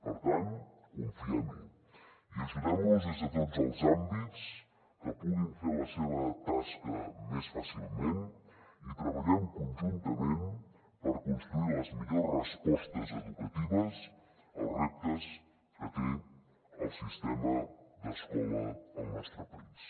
per tant confiem hi i ajudem los des de tots els àmbits que puguin fer la seva tasca més fàcilment i treballem conjuntament per construir les millors respostes educatives als reptes que té el sistema d’escola al nostre país